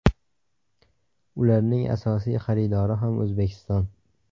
Ularning asosiy xaridori ham O‘zbekiston.